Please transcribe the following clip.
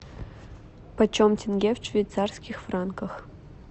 почем тенге в швейцарских франках